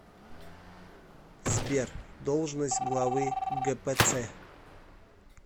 сбер должность главы гпц